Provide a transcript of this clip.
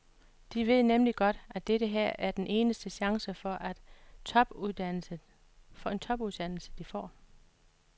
De ved nemlig godt, at dette her er den eneste chance for en topuddannelse, de får.